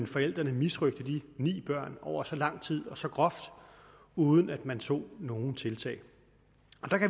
forældrene misrøgte de ni børn over så lang tid og så groft uden at man tog nogen tiltag